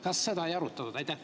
Kas seda ei arutatud?